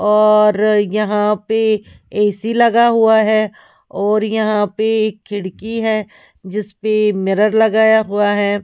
और यहां पे ए_सी लगा हुआ है और यहां पे एक खिड़की है जिसपे मिरर लगाया हुआ है।